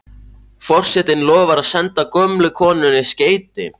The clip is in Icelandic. Forsetinn lofar að senda gömlu konunni skeyti.